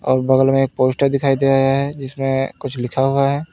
और बगल में एक पोस्टर दिखाई दे रहा है जिसमें कुछ लिखा हुआ है।